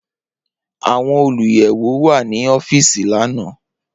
Awọn oluyẹwo wa ni ọfiisi lana.